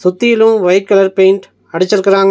சுத்தியிலு white colour paint அடிச்சிருக்கறாங்க.